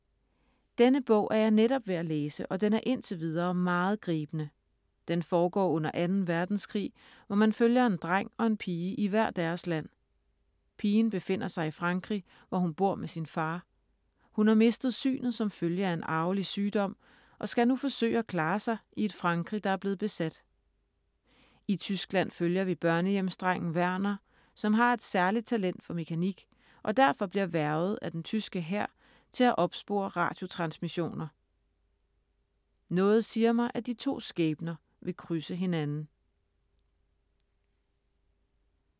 Denne bog er jeg netop ved at læse og den er indtil videre meget gribende. Den foregår under 2. verdenskrig, hvor man følger en dreng og en pige i hver deres land. Pigen befinder sig i Frankrig, hvor hun bor med sin far. Hun har mistet synet som følge af en arvelig sygdom og skal nu forsøge at klare sig i et Frankrig, der er blevet besat. I Tyskland følger vi børnehjemsdrengen Werner, som har et særligt talent for mekanik, og derfor bliver hvervet af den tyske hær til at opspore radiotransmissioner. Noget siger mig, at de to skæbner vil krydse hinanden …